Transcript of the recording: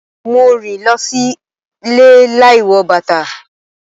Mo rìn lọ sílé láì wọ bàtà.